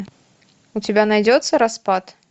у тебя найдется распад